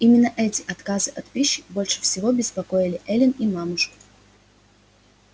именно эти отказы от пищи больше всего беспокоили эллин и мамушку